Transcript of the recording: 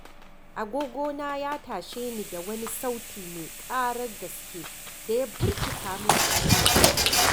Agogona ya tashe ni da wani sauti mai ƙarar gaske da ya birkita min kunnuwa.